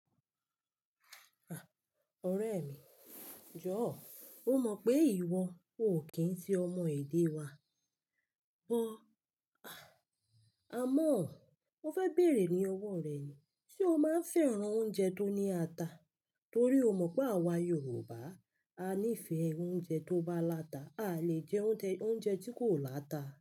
Ah! Ọ̀rẹ́ mi, jọ̀ọ́ mo mọ̀ pé ìwọ ò kí ń ti ọmọ èdè wa, bọ̀ àmọ́ mo fẹ́ bèrè ní ọwọ́ rẹ yẹn, ṣe o máa ń fẹ́ràn oúnjẹ tó ní ata? Torí o mọ̀ pé àwa Yorùbá á nífẹ̀ẹ́ oúnjẹ tó bá láta, a lè jẹ oúnjẹ, oúnjẹ tí kò láta.